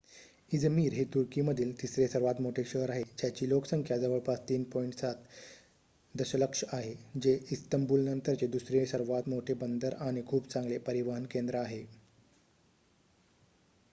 Izmir हे तुर्कीमधील तिसरे सर्वात मोठे शहर आहे ज्याची लोकसंख्या जवळपास 3.7 दशलक्ष आहे जे इस्तंबूलनंतरचे दुसरे सर्वात मोठे बंदर आणि खूप चांगले परिवहन केंद्र आहे